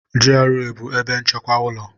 GRA bụ ebe nchekwa ụlọ.